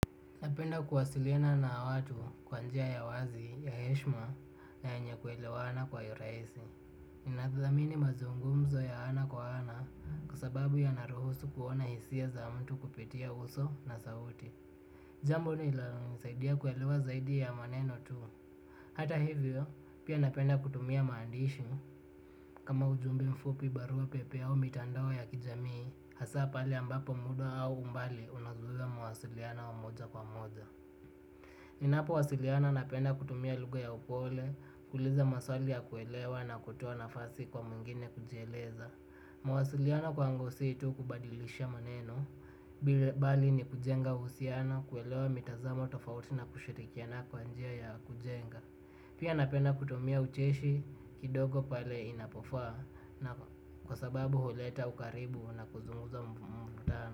Napenda kuwasiliana na watu kwa njia ya uwazi ya heshima na yenye kuelewana kwa urahisi ninadhazamini mazungumzo ya ana kwa ana kwa sababu yanaruhusu kuona hisia za mtu kupitia uso na sauti. Jambo linalonisaidia kuelewa zaidi ya maneno tu. Hata hivyo, pia napenda kutumia maandishi kama ujumbe mfupi barua pepe au mitandao ya kijamii hasa pale ambapo muda au umbali unazuia mawasilino wa moja kwa moja. Ninapowasiliana napenda kutumia lugha ya upole, kuuliza maswali ya kuelewa na kutoa nafasi kwa mwingine kujieleza. Mwasiliano kwangu si tu kubadilisha maneno, bali ni kujenga uhusiano, kuelewa mitazamo tofauti na kushirikiana kwa njia ya kujenga. Pia napenda kutumia ucheshi kidogo pale inapofaa na kwa sababu huleta ukaribu na kuzungumza.